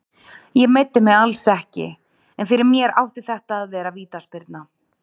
Ég meiddi mig alls ekki, en fyrir mér átti þetta að vera vítaspyrna.